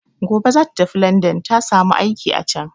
Gobe za ta tafi landan, ta samu aiki a can.